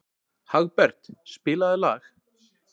Hagbert, spilaðu lag.